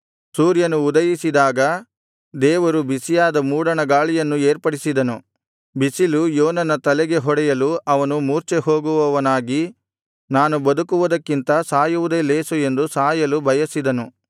ಸೂರ್ಯನು ಉದಯಿಸಿದಾಗ ದೇವರು ಬಿಸಿಯಾದ ಮೂಡಣ ಗಾಳಿಯನ್ನು ಏರ್ಪಡಿಸಿದನು ಬಿಸಿಲು ಯೋನನ ತಲೆಗೆ ಹೊಡೆಯಲು ಅವನು ಮೂರ್ಛೆಹೋಗುವವನಾಗಿ ನಾನು ಬದುಕುವುದಕ್ಕಿಂತ ಸಾಯುವುದೇ ಲೇಸು ಎಂದು ಸಾಯಲು ಬಯಸಿದನು